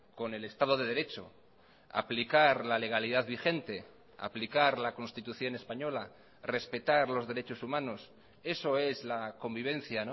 con el estado de derecho aplicar la legalidad vigente aplicar la constitución española respetar los derechos humanos eso es la convivencia